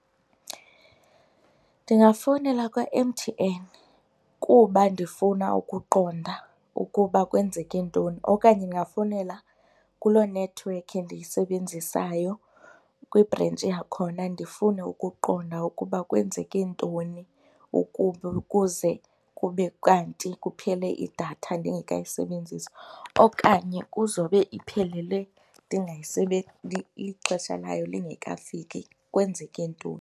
Ndingafowunela kwa-M_T_N kuba ndifuna ukuqonda ukuba kwenzeke ntoni okanye ndingafowunela kuloo nethiwekhi ndiyisebenzisayo, kwibhrentshi yakhona, ndifune ukuqonda ukuba kwenzeke ntoni ukuze kube kanti kuphele idatha ndingekayisebenzisi. Okanye kuzobe iphelele ixesha layo lingekafiki, kwenzeke ntoni?